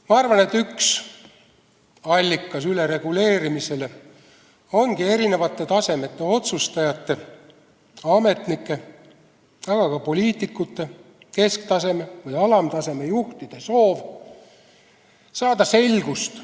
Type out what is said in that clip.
Ma arvan, et üks ülereguleerimise allikaid ongi eri tasemete otsustajate, ametnike, aga ka poliitikute, kesktaseme või alamtaseme juhtide soov saada selgust.